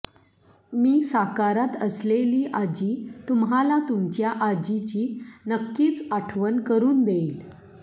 मी साकारत असलेली आजी तुम्हाला तुमच्या आजीची नक्कीच आठवण करुन देईल